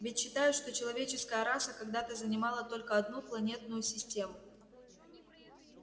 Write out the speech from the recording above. ведь считают что человеческая раса когда-то занимала только одну планетную систему